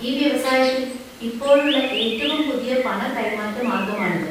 ഈ വ്യവസായത്തിൽ ഇപ്പോഴുള്ള ഏറ്റവും പുതിയ പണ കൈമാറ്റ മാർഗമാണിത്,